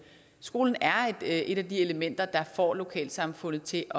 skolen er et af de elementer der får lokalsamfundet til